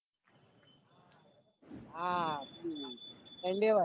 આ પેલી endeavor